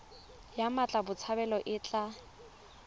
ya mmatla botshabelo e tla